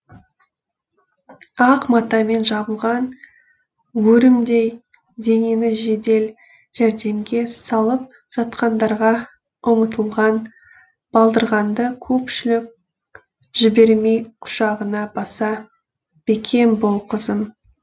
ақ матамен жабылған өрімдей денені жедел жәрдемге салып жатқандарға ұмытылған балдырғанды көпшілік жібермей құшағына баса бекем бол қызым